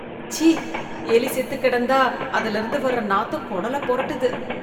சீ ! எலி செத்து கிடந்தா அதிலிருந்து வர நாத்தம் குடல புரட்டுது.